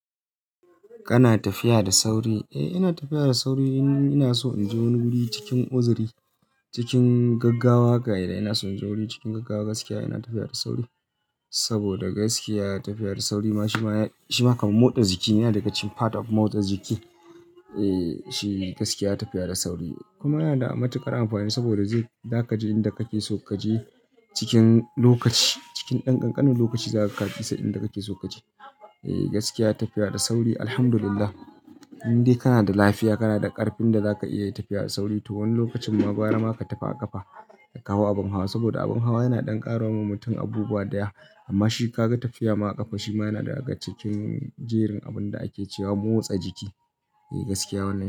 Kana tafiya da sauri? Eh ina tafiya da sauri in ina so in je wani guri cikin uzuri, cikin gaggawa haka idan ina son inje wuri cikin gaggawa gaskiya ina tafiya da sauri. Saboda gaskiya tafiya da sauri ma shi ma ya, shi ma kamar motsa jiki yana daga cikin part of motsa jiki. Eh shi gaskiya tafiya da sauri kuma yana da matuƙar amfani saboda zai, za ka je inda kake so kaje cikin lokaci, cikin ɗan ƙanƙanin lokaci za ka ga ka isa inda kake so kaje. Eh gaskiya tafiya da sauri Alhamdulillah indai kana da lafiya, kana da ƙarfin da zaka iya tafiya da sauri to wani lokacin ma gwara ma ka tafi a ƙafa ka hau abin hawa saboda abin hawa yana ɗan ƙara wa mutum abubuwa daya amma shi ka ga tafiya ma a ƙafa shi ma yana daga cikin jerin abun da ake cewa motsa jiki. Eh gaskiya wannan.